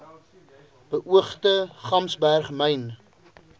beoogde gamsberg myn